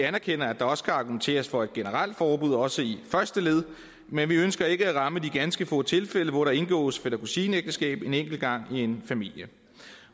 anerkender at der også kan argumenteres for et generelt forbud også i første led men vi ønsker ikke at ramme de ganske få tilfælde hvor der indgås fætter kusine ægteskab en enkelt gang i en familie